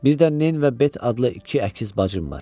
Birdən Neyn və Bet adlı iki əkiz bacım var.